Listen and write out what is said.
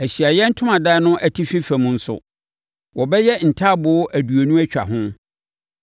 Ahyiaeɛ Ntomadan no atifi fam nso, wɔbɛyɛ ntaaboo aduonu atwa ho.